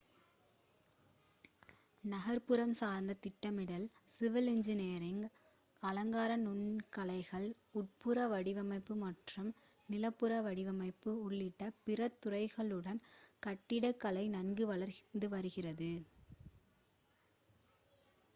நகர்ப்புறம் சார்ந்த திட்டமிடல் civil engineering அலங்கார நுண்கலைகள் உட்புற வடிவமைப்பு மற்றும் நிலப்பரப்பு வடிவமைப்பு உள்ளிட்ட பிற துறைகளுடன் கட்டிடக்கலை நன்கு வளர்ந்துவருகிறது